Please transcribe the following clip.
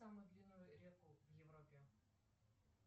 самую длинную реку в европе